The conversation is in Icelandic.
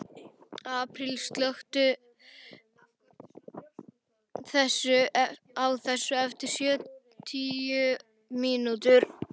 Apríl, slökktu á þessu eftir sjötíu mínútur.